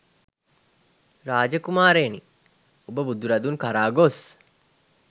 රාජ කුමාරයෙනි, ඔබ බුදුරදුන් කරා ගොස්